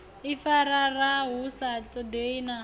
ifarafara hu sa ṱoḓei na